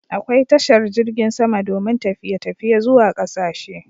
Akwai tashar jirgin sama domin tafiye tafiye zuwa ƙasashe